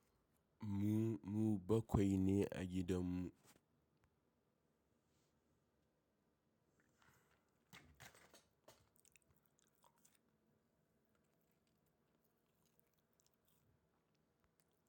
Mu, mu bakwai ne a gidan mu.